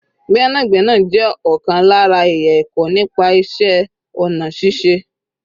Gbẹ́nàgbẹ́nà jẹ́ ọ̀kan lára ẹ̀yà ẹ̀kọ́ nípa iṣẹ́ ọ̀nà ṣíṣe